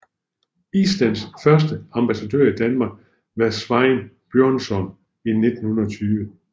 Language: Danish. Islands første ambassadør i Danmark var Sveinn Björnsson i 1920